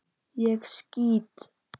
Ég skýt!